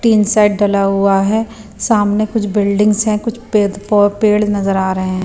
तीन साइड डला हुआ है सामने कुछ बिल्डिंग्स है कुछ पेद पौ पेड़ नजर आ रहे हैं।